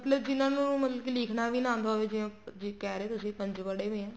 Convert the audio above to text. ਮਤਲਬ ਜਿਹਨਾ ਨੂੰ ਮਤਲਬ ਕੀ ਲਿਖਣਾ ਵੀ ਆਂਦਾ ਹੋਵੇ ਜ਼ੇ ਕਹਿ ਰਹੇ ਹੋ ਤੁਸੀਂ ਪੰਜ ਪੜੇ ਪਏ ਹੈ